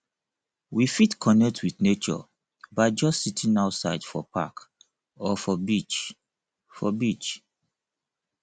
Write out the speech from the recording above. we fit connect with nature by just sitting outside for park or for beach for beach